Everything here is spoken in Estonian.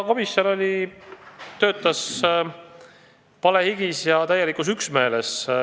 Komisjon töötas palehigis ja täielikus üksmeeles.